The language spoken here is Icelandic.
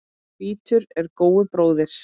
Hvítur er góu bróðir.